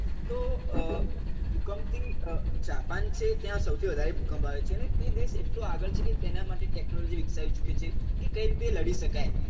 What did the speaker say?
તો ભૂકંપ થી જાપાન છે ત્યાં સૌથી વધારે ભૂકંપ આવે છે અને તે દેશ એટલો આગળ છે કે તેનાં માટે ટેકનોલોજી વિકસાવી ચુકી છે કે કઈ રીતે લડી શકાય